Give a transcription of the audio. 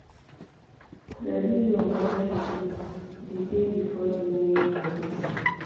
ready your work schedule di day before di main work day